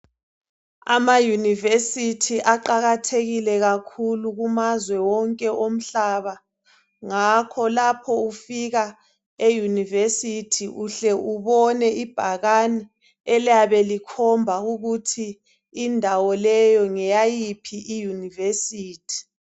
AmaYunivesithi aqakathekile kakhulu kumazwe wonke omhlaba ngakho lapho ufika eYunivesithi uhle ubone ibhakane elabe likhomba ukuthi indawo leyi ngeyayiphi iYunivesithi.